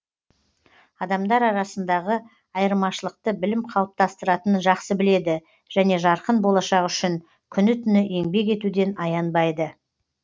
адамдар арасындағы айырмашылықты білім қалыптастыратынын жақсы біледі және жарқын болашақ үшін күні түні еңбек етуден аянбайды